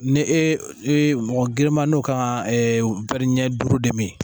Ne e mɔgɔ grinman n'o kan ka ɛɛ ɲɛ duuru de mi.